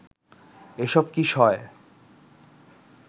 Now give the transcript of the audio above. এসব কি সয়